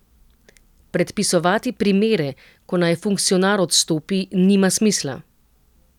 Predpisovati primere, ko naj funkcionar odstopi, nima smisla.